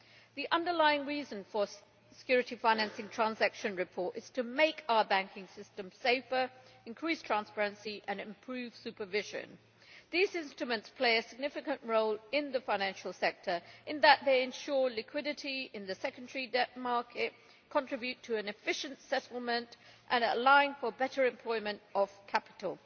The underlying reason for the securities financing transactions report is to make our banking system safer, increase transparency and improve supervision. These instruments play a significant role in the financial sector in that they ensure liquidity in the secondary debt market, contribute to an efficient settlement and allow for better employment of capital.